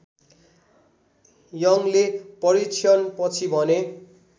यङले परीक्षणपछि भने